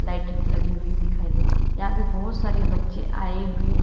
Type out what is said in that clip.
लगी हुई है दिखाई दे यहां पे बहोत सारे बच्चे आए हुए --